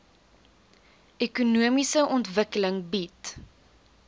ekonomiese ontwikkeling bied